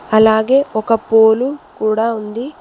అలాగే ఒక పోలు కూడా ఉంది.